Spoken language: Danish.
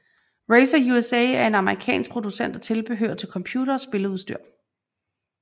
Razer USA er en amerikansk producent af tilbehør til computere og spilleudstyr